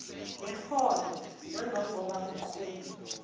neholo nangangoba kunqume